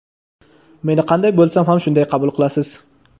meni qanday bo‘lsam shunday qabul qilasiz.